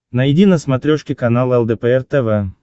найди на смотрешке канал лдпр тв